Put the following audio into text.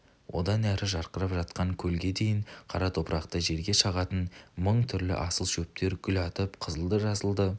одан әрі жарқырап жатқан көлге дейін қара топырақты жерге шығатын мың түрлі асыл шөптер гүл атып қызылды-жасылды